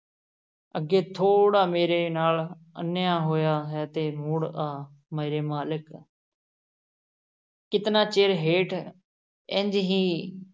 ਅੱਗੇ ਥੋੜ੍ਹਾ ਮੇਰੇ ਨਾਲ਼ ਅਨਿਆਂ ਹੋਇਆ ਹੈ ਤੇ ਮੁੜ ਆ, ਮੇਰੇ ਮਾਲਕ ਕਿਤਨਾ ਚਿਰ ਹੇਠ ਇੰਞ ਹੀ